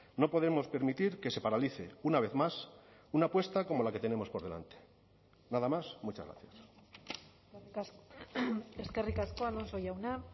no podemos permitir que se paralice una vez más una apuesta como la que tenemos por delante nada más muchas gracias eskerrik asko alonso jauna